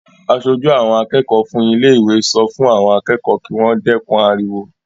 Aṣojú àwọn akẹ́kọ̀ọ́ fún ilé-ìwé sọ fún àwọn akẹ́kọ̀ọ́ kí wọ́n dẹ́kun ariwo.